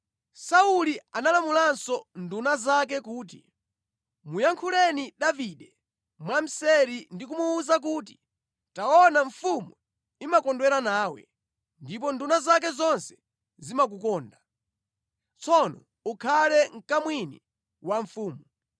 Sauli analamulanso nduna zake kuti, “Muyankhuleni Davide mwamseri ndi kumuwuza kuti, ‘Taona, mfumu imakondwera nawe, ndipo nduna zake zonse zimakukonda. Tsono ukhale mkamwini wa mfumu.’ ”